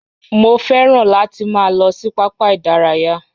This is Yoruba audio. Mo fẹ́ràn láti máa lọ sí pápá ìdárayá